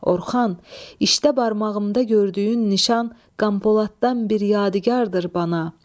Orxan, işdə barmağımda gördüyün nişan Qam Poladdan bir yadigardır bana.